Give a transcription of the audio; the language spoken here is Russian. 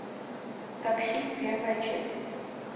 такси первая часть